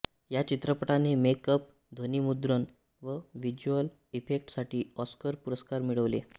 या चित्रपटाने make up ध्वनीमुद्रण व विज्युअल इफेक्टस साठी ऑस्कर पुरस्कार मिळवले